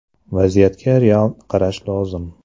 Vaziyatga real qarash lozim.